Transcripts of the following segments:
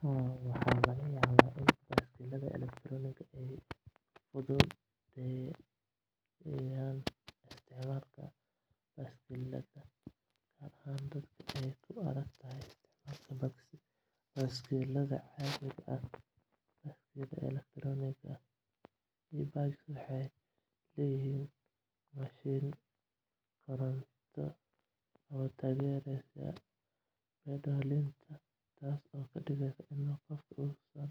Haa, waxaa laga yaabaa in baaskiilada elektaroonigga ah ay fududeeyaan isticmaalka baaskiilada, gaar ahaan dadka ay ku adkaato isticmaalka baaskiilada caadiga ah. Baaskiilada elektaroonigga ah e-bikes waxay leeyihiin mashiin koronto oo taageera pedallinta, taasoo ka dhigaysa in qofku uusan u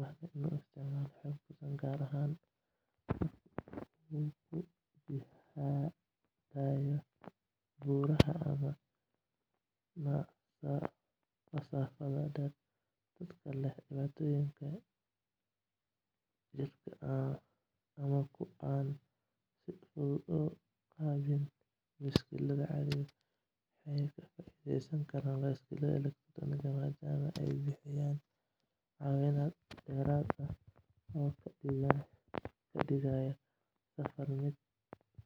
baahnayn inuu isticmaalo xoog badan, gaar ahaan marka uu ku jihaadayo buuraha ama masaafada dheer. Dadka leh dhibaatooyinka jidhka ama kuwa aan si fudud u qabin baaskiil caadi ah waxay ka faa’iidi karaan baaskiilada elektaroonigga ah, maadaama ay bixiyaan caawimaad dheeraad ah oo ka dhigaya safarka mid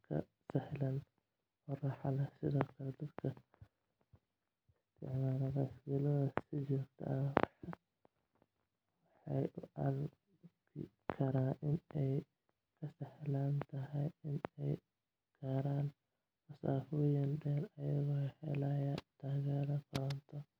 ka sahlan oo raaxo leh. Sidoo kale, dadka isticmaala baaskiilada si joogto ah waxay u arki karaan in ay ka sahlan tahay in ay gaaraan masaafooyin dheer, iyagoo helaya taageero koronto oo fududeynaysa safarka.